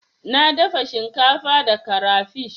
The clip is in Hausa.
Na dafa shinkafa da karafish.